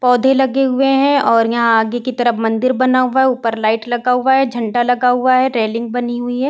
पौधे लगें हुए हैं और यहाँ आगे कि तरफ मंदिर बना हुआ है। ऊपर लाइट लगा हुआ है। झंडा लगा हुआ है। रेलिंग बनी हुई है।